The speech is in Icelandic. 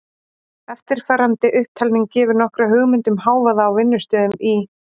Eftirfarandi upptalning gefur nokkra hugmynd um hávaða á vinnustöðum í